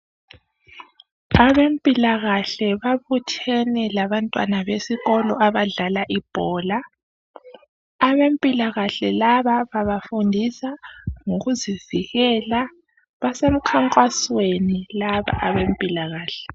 Abempilakahle babuthene labantwana besikolo abadlala ibhola, abempilakahle laba babafundisa ngokuzivikela, basemkhankasweni laba abempilakahle.